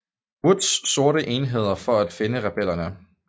Woods sorte enheder for at finde rebellerne